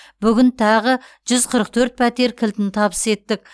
бүгін тағы жүз қырық төрт пәтер кілтін табыс еттік